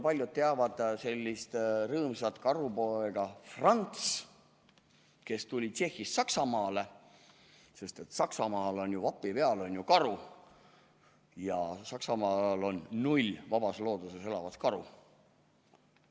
Paljud teavad sellist rõõmsat karupoega nagu Franz, kes tuli Tšehhist Saksamaale, sest Saksamaal on vapi peal karu ja Saksamaal on null vabas looduses elavat karu.